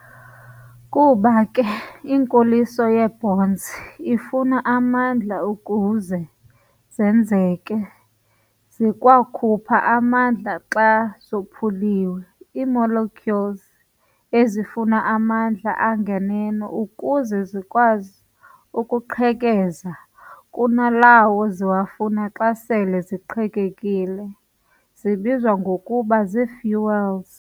Kuba ke inkoliso yee-bonds ifuna amandla ukuze zenzeke, zikwakhupha amandla xa zophuliwe. Ii-Molecules ezifuna amandla anganeno ukuze zikwazi ukuqhekeza kunalawo ziwafuna xa sele ziqhekekile zibizwa ngokuba zii-fuels.